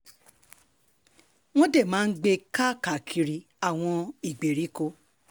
wọ́n dé máa ń gbé e káàkiri àwọn ìgbèríko